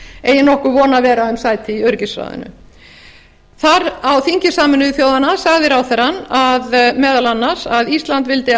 eigi nokkur von að vera um sæti í öryggisráðinu á þingi sameinuðu þjóðanna sagði ráðherrann meðal annars að ísland vildi